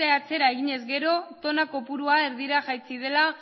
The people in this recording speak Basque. atzera eginez gero tona kopurua erdira jaitsi dela